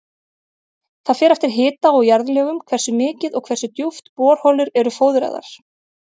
Það fer eftir hita og jarðlögum hversu mikið og hversu djúpt borholur eru fóðraðar.